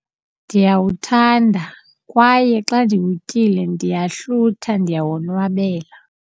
Ndiyawuthanda kwaye xa ndiwutyile ndiyahlutha, ndiyawonwabela.